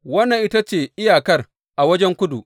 Wannan ita ce iyakar a wajen kudu.